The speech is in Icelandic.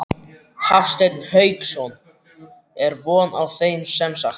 Hafsteinn Hauksson: Er von á þeim semsagt?